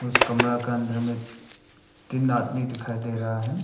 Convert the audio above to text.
उसे कमरा के अंदर में तीन आदमी दिखाई दे रहा है।